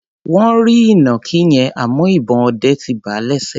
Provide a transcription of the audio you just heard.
Wọ́n rí ìnàkí yẹn, àmọ́ ìbọn ọdẹ ti bà á lẹ́sẹ̀.